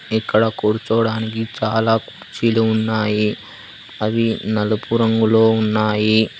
ఇక్కడ కూర్చోడానికి చాలా కుర్చీలు ఉన్నాయి అవి నలుపు రంగులో ఉన్నాయి.